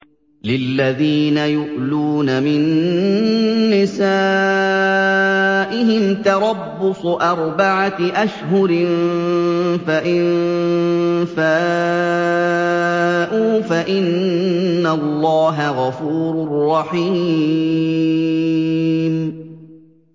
لِّلَّذِينَ يُؤْلُونَ مِن نِّسَائِهِمْ تَرَبُّصُ أَرْبَعَةِ أَشْهُرٍ ۖ فَإِن فَاءُوا فَإِنَّ اللَّهَ غَفُورٌ رَّحِيمٌ